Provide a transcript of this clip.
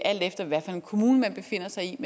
alt efter hvilken kommune man befinder sig i